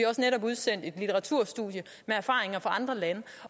også netop udsendt et studie med erfaringer fra andre lande